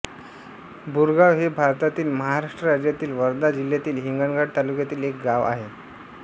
बोरगाव हे भारतातील महाराष्ट्र राज्यातील वर्धा जिल्ह्यातील हिंगणघाट तालुक्यातील एक गाव आहे